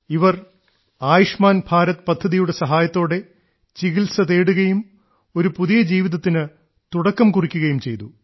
ഇവർ ആയുഷ്മാൻ ഭാരത് പദ്ധതിയുടെ സഹായത്തോടെ ചികിത്സ തേടുകയും ഒരു പുതിയ ജീവിതത്തിന് തുടക്കം കുറിക്കുകയും ചെയ്തു